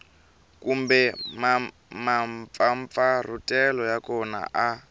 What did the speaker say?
kumbe mampfampfarhutelo ya kona a